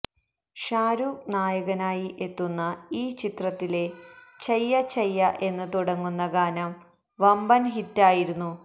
ഷാരൂഖ് നായകനായി എത്തുന്ന ഈ ചിത്രത്തിലെ ചയ്യ ചയ്യ എന്ന് തുടങ്ങുന്ന ഗാനം വമ്പന് ഹിറ്റായിരുന്നു